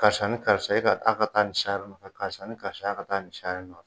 Karisa ni karisa e ka a ka taa nin sari nɔfɛ karisa ni karisa a ka taa ni sari nɔfɛ